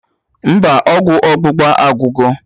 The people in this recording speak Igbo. Mba, ọgwụ ọgbụgba agwugo